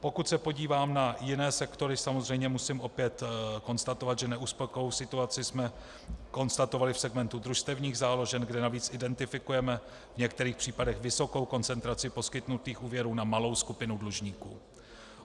Pokud se podívám na jiné sektory, samozřejmě musím opět konstatovat, že neuspokojivou situaci jsme konstatovali v segmentu družstevních záložen, kde navíc identifikujeme v některých případech vysokou koncentraci poskytnutých úvěrů na malou skupinu dlužníků.